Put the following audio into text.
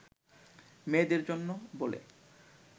মেয়েদের জন্য বলে